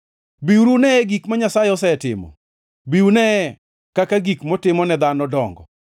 Biuru uneye gik ma Nyasaye osetimo; bi uneye kaka gik motimo ne dhano dongo!